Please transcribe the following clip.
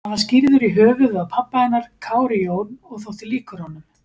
Hann var skírður í höfuðið á pabba hennar, Kári Jón, og þótti líkur honum.